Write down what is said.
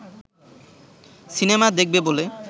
cinema দেখবে বলে